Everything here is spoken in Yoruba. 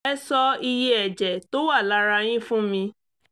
ẹ sọ iye ẹ̀jẹ̀ tó wà lára yín fún mi